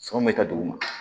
Sɔn bɛ ka duguma